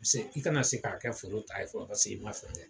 Paseke i kana se k'a kɛ foro ta ye fɔ ka se